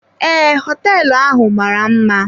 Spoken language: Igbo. Ee, hoteelu ahụ mara mma.